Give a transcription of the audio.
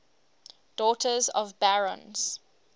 daughters of barons